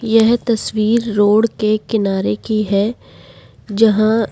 यह तस्वीर रोड के किनारे की है जहां--